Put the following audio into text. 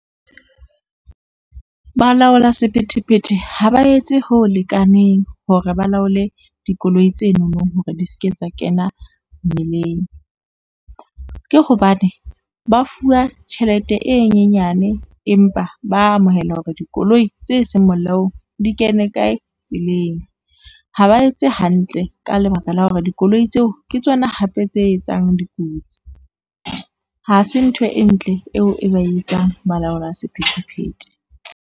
Balaola sephethephethe ha ba etse ho lekaneng hore ba laole dikoloi tse nonong hore di ske tsa kena mmileng. Ke hobane ba fuwa tjhelete e nyenyane empa ba amohela hore dikoloi tse seng molaong di kene kae tseleng, ha ba etse hantle ka lebaka la hore dikoloi tseo ke tsona hape tse etsang dikotsi. Ha se ntho e ntle, eo e ba e etsang balaola sephethephethe.